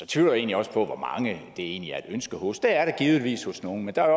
tvivler egentlig også på hvor mange det egentlig er et ønske hos det er det givetvis hos nogen men der er